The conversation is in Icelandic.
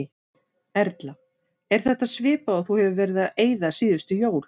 Erla: Er þetta svipað og þú hefur verið að eyða síðustu jól?